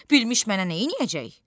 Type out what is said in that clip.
Bilmish mənə neyləyəcək?